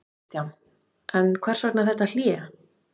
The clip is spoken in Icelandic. Kristján: En hvers vegna þetta hlé?